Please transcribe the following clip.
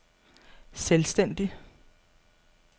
selvstændig